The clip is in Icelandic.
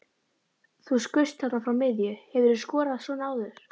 Þú skaust þarna frá miðju, hefurðu skorað svona áður?